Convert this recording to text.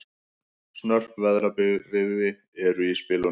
Snörp veðrabrigði eru í spilunum